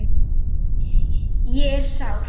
Ég er sár.